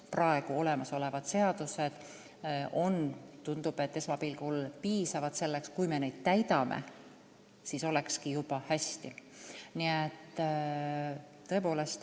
Praegused seadused on piisavad ja kui me neid täidame, siis ongi juba hästi.